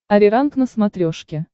ариранг на смотрешке